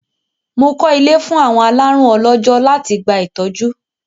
Mo kọ́ ilé fún àwọn alárùn ọlọ́jọ́ láti gba ìtọ́jú.